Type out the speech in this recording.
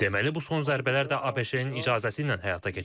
Deməli, bu son zərbələr də ABŞ-ın icazəsi ilə həyata keçirilib.